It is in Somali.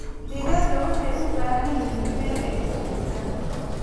Digaagga waxay u baahan yihiin meel ay ku socdaan.